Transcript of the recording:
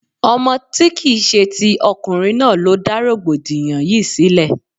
Ọmọ tí kìí ṣe ti ọkùnrin náà ló dá rọ̀gbọ̀dìyàn yìí sílẹ̀.